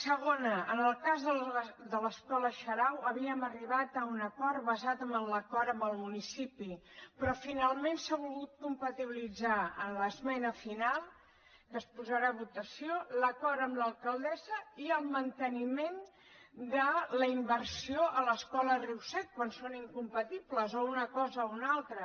segona en el cas de l’escola xarau havíem arribat a un acord basat en l’acord amb el municipi però finalment s’ha volgut compatibilitzar amb l’esmena final que es posarà a votació l’acord amb l’alcaldessa i el manteniment de la inversió a l’escola riu sec quan són incompatibles o una cosa o una altra